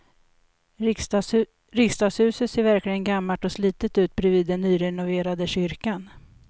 Riksdagshuset ser verkligen gammalt och slitet ut bredvid den nyrenoverade kyrkan.